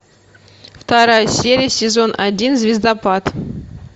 вторая серия сезон один звездопад